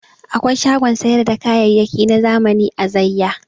Akwai shagon sayar da kayayaki na zamani a Zaiya.